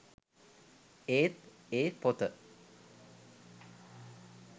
ඒත් ඒ පොත